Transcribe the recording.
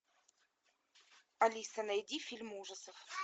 алиса найди фильм ужасов